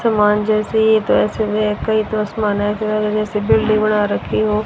हनुमान जैसी ये कोई दुश्मन है जैसी बिल्डिंग बना रखी हो।